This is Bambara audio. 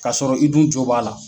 Ka sɔrɔ i dun jo b'a la.